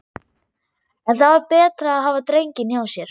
En það var betra að hafa drenginn hjá sér.